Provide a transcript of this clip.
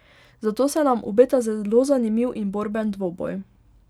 Zato se nam obeta zelo zanimiv in borben dvoboj.